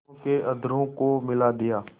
दोनों के अधरों को मिला दिया